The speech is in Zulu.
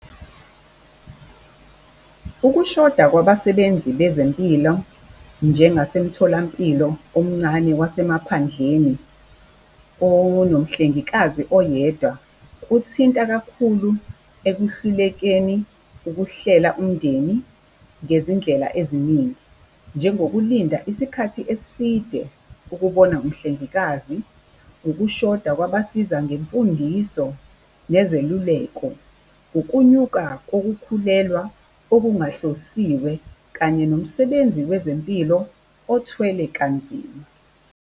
Ukushoda kwabasebenzi bezempilo njengasemitholampilo omncane wasemaphandleni onomhlengikazi oyedwa, kuthinta kakhulu ekuhlulekeni ukuhlela umndeni ngezindlela eziningi. Njengokulinda isikhathi eside ukubona umhlengikazi, ukushoda kwabasiza ngemfundiso nezeluleko. Ukunyuka kokukhulelwa okungahlosiwe kanye nomsebenzi wezempilo othwele kanzima.